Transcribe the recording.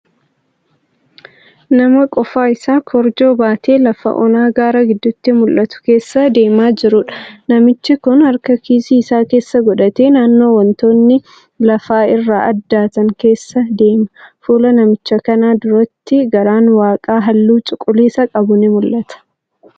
Nama qofaa isaa korojoo baatee lafa onaa gaara gidduuti mul'atu keessa deemaa jiruudha. Namichi kun harka kiisii isaa keessa godhatee naannoo wantoonni lafaa irraa addaatan keessa deema. Fuula namicha kanaa duratti garaan waaqaa halluu cuquliisa qabu ni mul'ata.